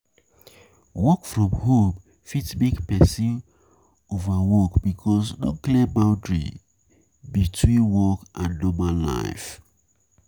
Working from home fit make perosn overwork because no clear boundry boundry between work and normal life